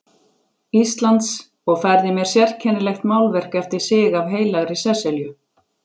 Íslands og færði mér sérkennilegt málverk eftir sig af Heilagri Sesselju.